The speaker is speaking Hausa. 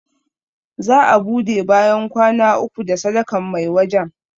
Za a ɓude bayan kwana uku da sadakan mai wajan